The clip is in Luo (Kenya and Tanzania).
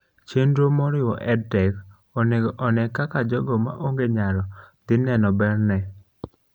chenro moriwo EdTech onego one kaka jogo maonge nyalo dhi neno bere ne